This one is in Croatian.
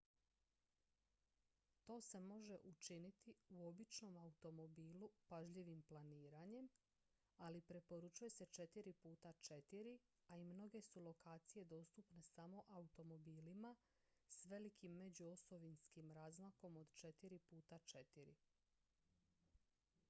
to se može učiniti u običnom automobilu pažljivim planiranjem ali preporučuje se 4 x 4 a i mnoge su lokacije dostupne samo automobilima s velikim međuosovinskim razmakom od 4 x 4